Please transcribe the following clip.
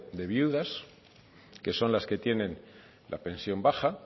de viudas que son las que tienen la pensión baja